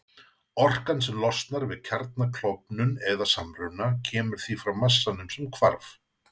Orkan sem losnar við kjarnaklofnun eða-samruna kemur því frá massanum sem hvarf.